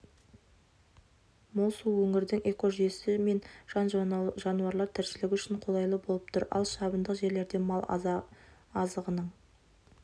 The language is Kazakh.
мол су өңірдің экожүйесі мен жан-жануарлар тіршілігі үшін қолайлы болып тұр ал шабындық жерлерде мал азығының